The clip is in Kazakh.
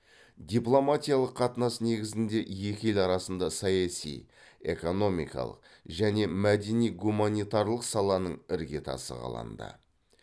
дипломатиялық қатынас негізінде екі ел арасында саяси экономикалық және мәдени гуманитарлық саланың іргетасы қаланды